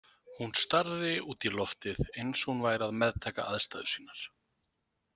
Hún starði út í loftið, eins og hún væri að meðtaka aðstæður sínar.